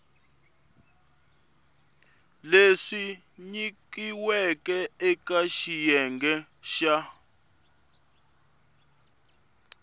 leswi nyikiweke eka xiyenge xa